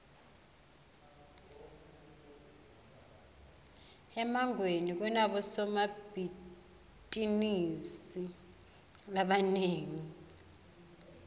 emangweni kunabosombitizinisi labanengi